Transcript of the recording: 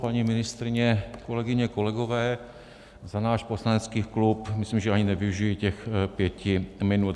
Paní ministryně, kolegyně, kolegové, za náš poslanecký klub myslím, že ani nevyužiji těch pěti minut.